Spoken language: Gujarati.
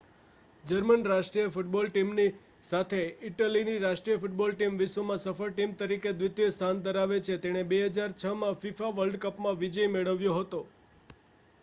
જર્મન રાષ્ટ્રીય ફૂટબૉલ ટીમની સાથે ઇટલીની રાષ્ટ્રીય ફૂટબૉલ ટીમ વિશ્વમાં સફળ ટીમ તરીકે દ્વિતીય સ્થાન ધરાવે છે અને તેણે 2006માં fifa વર્લ્ડ કપમાં વિજય મેળવ્યો હતો